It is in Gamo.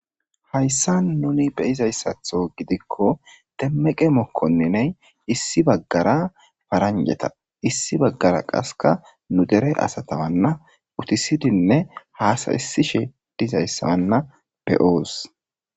hayssa nuni beyizayssatho gidikko demmeqe mokkonniney issi baggara paranjeta issi baggara qaska nu dere asatawanna utisidinne haasaysishe dizayssawanna be'oos.